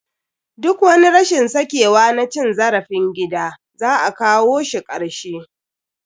Duk wani rashin sakewa na cin zarafin gida, za a kawo shi karshe.